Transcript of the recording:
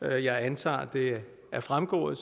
jeg antager det er fremgået